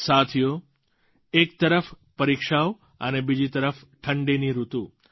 સાથીઓ એક તરફ પરીક્ષાઓ અને બીજી તરફ ઠંડીની ઋતુ